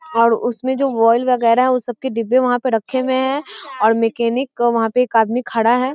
और उसमें जो ऑइल वैगरह है वो सब के डिब्बे वहाँ पे रखे हुए हैं और मेकैनिक वहाँ पे एक आदमी खड़ा है।